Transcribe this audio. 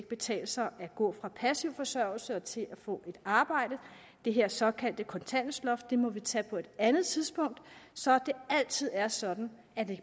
betale sig at gå fra passiv forsørgelse til at få et arbejde det her såkaldte kontanthjælpsloft må vi tage på et andet tidspunkt så det altid er sådan at det